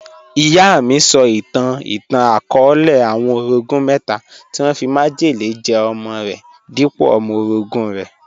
Iyà mí sọ̀ itàn ìtàn-akọọlẹ̀ àwọn orọ̀gún mẹta tí wọn fí májẹlẹ̀ jẹ̀ ọmọ̀ rẹ̀ dípọ̀ ọmọ̀ orọ̀gún rẹ̀.